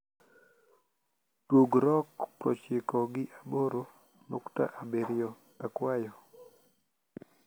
tug rock proochiko gi aboro nukta abirio akwayo